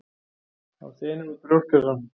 Hann þenur brjóstkassann.